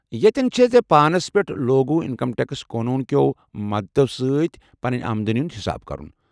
ییٚتین چھییہِ ژےٚ پانس لوٗگو اِنکم ٹیکس قونون کیٚو مدتو سۭتۍ پنٕنۍ آمدنی ہُند حساب کرُن۔